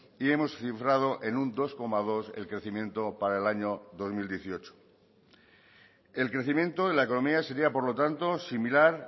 y hemos cifrado en un dos coma dos el crecimiento para el año dos mil dieciocho el crecimiento de la economía sería por lo tanto similar